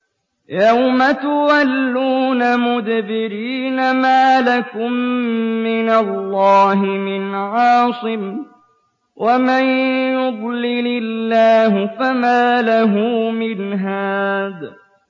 يَوْمَ تُوَلُّونَ مُدْبِرِينَ مَا لَكُم مِّنَ اللَّهِ مِنْ عَاصِمٍ ۗ وَمَن يُضْلِلِ اللَّهُ فَمَا لَهُ مِنْ هَادٍ